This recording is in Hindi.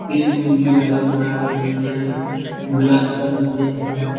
पेड़-पुड़ भी लगा हुआ है बगल में गुलाब का भी पेड़ है।